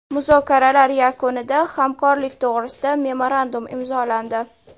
Muzokaralar yakunida hamkorlik to‘g‘risida memorandum imzolandi.